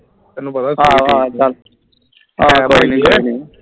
ਆਹੋ ਆਹੋ ਚਲ ਕੋਈ ਨੀ ਕੋਈ ਨੀ